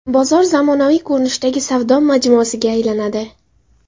Bozor zamonaviy ko‘rinishdagi savdo majmuasiga aylanadi .